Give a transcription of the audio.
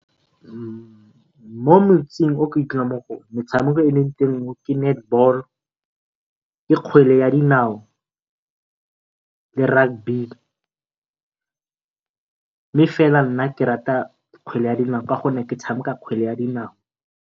Mo motseng o ke dulang mo go ona metshameko e eleng teng ke netball, ke kgwele ya dinao le rugby mme fela nna ke rata kgwele ya dinao ka gonne ke tshameka kgwele ya dinao.